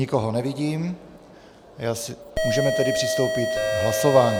Nikoho nevidím, můžeme tedy přistoupit k hlasování.